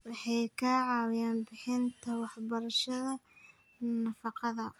Waxay ka caawiyaan bixinta waxbarashada nafaqada.